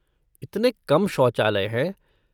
इतने कम शौचालय हैं।